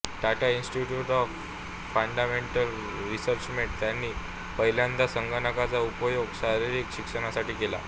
Tata institute of fundamental रिसर्चमध्ये त्यांनी पहिल्यांदा संगणकाचा उपयोग शारीरिक शिक्षणासाठी केला